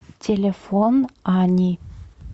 телефон ани